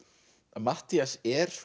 Matthías er